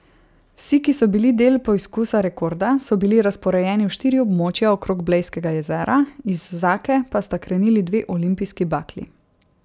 Vsi, ki so bili del poizkusa rekorda, so bili razporejeni v štiri območja okrog Blejskega jezera, iz Zake pa sta krenili dve olimpijski bakli.